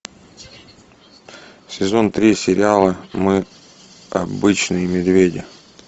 сезон три сериала мы обычные медведи